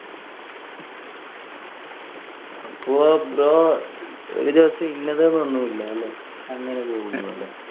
അപ്പൊ bro ഒരു ദിവസം ഇഞ്ഞത് എന്ന് ഒന്നും ഇല്ലാലെ. അങ്ങനെ പോകില്ലലെ.